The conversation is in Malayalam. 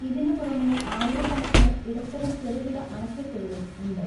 ഇതിന് പുറമേആയിരക്കണക്കിന് ഇടത്തരം, ചെറുകിട അണക്കെട്ടുകളുംഉണ്ട്.